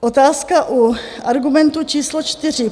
Otázka u argumentu číslo čtyři.